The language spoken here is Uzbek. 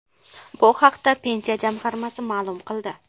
Bu haqda Pensiya jamg‘armasi ma’lum qildi .